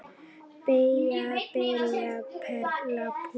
Byggja- spila- perla- púsla